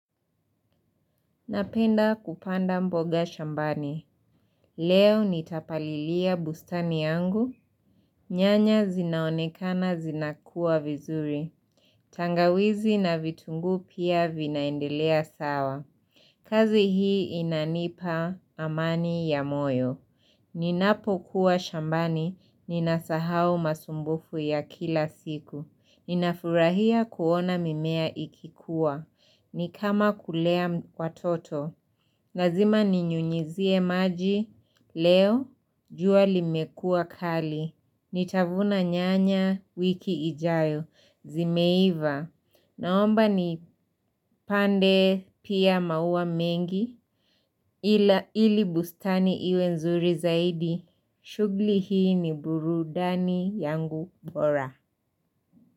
Napenda kupanda mboga shambani. Leo nitapalilia bustani yangu. Nyanya zinaonekana zinakua vizuri. Tangawizi na vitungu pia vinaendelea sawa. Kazi hii inanipa amani ya moyo. Ninapo kuwa shambani, ninasahau masumbufu ya kila siku. Ninafurahia kuona mimea ikikuwa. Nikama kulea watoto. Nazima ni nyunyizie maji, leo, juali mekua kali, nitavuna nyanya wiki ijayo, zimeiva, naomba nipande pia maua mengi, ili bustani iwe nzuri zaidi, shugli hii ni burudani yangu bora.